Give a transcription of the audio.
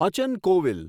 Achan Kovil